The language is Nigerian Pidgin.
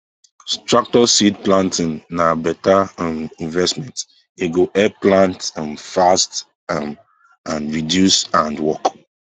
tractor seed planting na better um investment e go help plant um fast um and reduce hand work